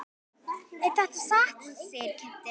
Er þetta satt? segir Kiddi.